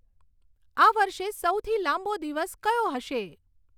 આ વર્ષે સૌથી લાંબો દિવસ કયો હશે